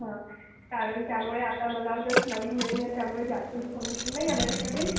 हा चालेल, त्यामुळे आता मला जस्ट नवीन नवीन आहे त्यामुळे जास्त इन्फॉर्मेशन नाहीये माझ्याकडे.